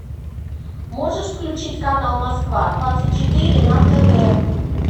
можешь включить канал москва двадцать четыре на тв